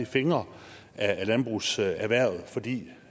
fingre ad landbrugserhvervet fordi